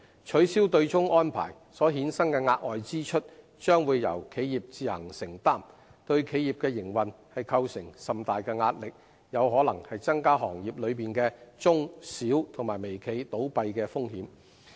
取消對沖安排所衍生的額外支出，將會由企業自行承擔，對企業的營運構成甚大壓力，有可能增加行業內的中小微企倒閉的風險。